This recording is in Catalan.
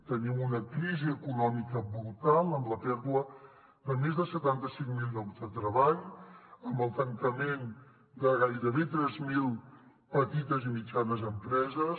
tenim una crisi econòmica brutal amb la pèrdua de més de setanta cinc mil llocs de treball amb el tancament de gairebé tres mil petites i mitjanes empreses